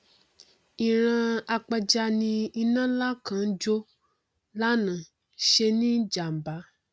ìran apẹja ni iná nlá kan tó jó lánàá ṣe ní jàmbá